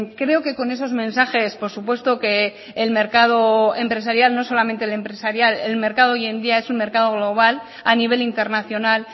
creo que con esos mensajes por supuesto que el mercado empresarial no solamente el empresarial el mercado hoy en día es un mercado global a nivel internacional